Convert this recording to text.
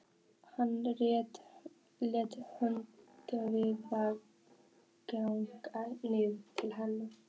Hann réttir höndina hikandi niður til hennar.